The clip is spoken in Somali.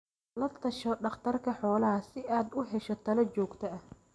La tasho dhakhtarka xoolaha si aad u hesho talo joogto ah.